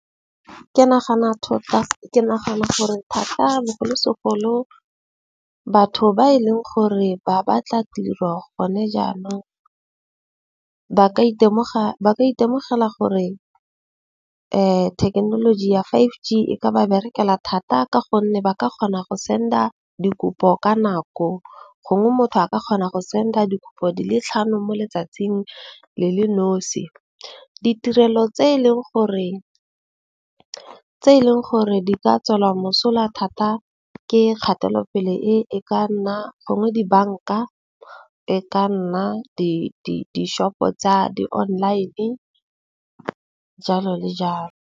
Ke nagana thata ke nagana gore thata bogolosegolo batho ba e leng gore ba batla tiro gone jaanong, ba ka itemoga ba itemogela gore thekenoloji ya five G e ka ba berekela thata. Ka gonne ba ka kgona go send-a dikopo ka nako. Gongwe motho a ka kgona go send-a dikopo di le tlhano mo letsatsing le le nosi. Ditirelo tse e leng gore di ka tswela mosola thata ke kgatelopele, e e ka nna gongwe dibanka. E ka nna di-shop-o tsa di-online jalo le jalo.